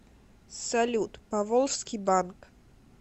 салют поволжский банк